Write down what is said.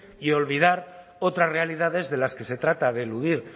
y olvidar otras realidades de las que se trata de eludir